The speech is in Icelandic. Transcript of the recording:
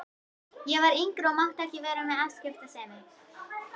Ég var yngri og mátti ekki vera með afskiptasemi.